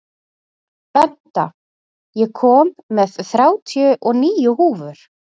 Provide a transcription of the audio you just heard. Benta, ég kom með þrjátíu og níu húfur!